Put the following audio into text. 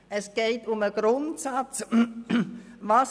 Es geht um die Grundsatzfragen: